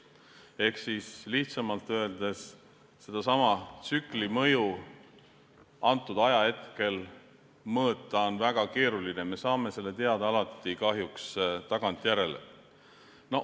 Lihtsamalt öeldes, sedasama tsükli mõju ajahetkel mõõta on väga keeruline, me saame selle teada alati kahjuks tagantjärele.